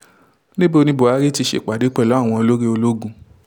níbo ni buhari ti ṣèpàdé pẹ̀lú àwọn olórí ológun